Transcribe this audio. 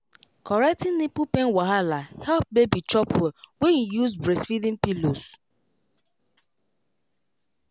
correcting nipple pain wahala help baby chop well when you use breastfeeding pillows wait